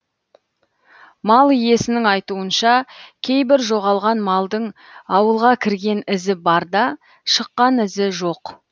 мал иесінің айтуынша кейбір жоғалған малдың ауылға кірген ізі бар да шыққан ізі жоқ